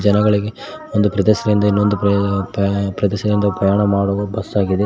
ಜನಗಳಿಗೆ ಒಂದು ಪ್ರದೇಸದಿಂದ ಇನ್ನೊಂದು ಪ್ರ ಪ್ರ ಪ್ರದೇಸದಿಂದ ಪ್ರಯಾಣ ಮಾಡುವ ಬಸ್ಸಾಗಿದೆ.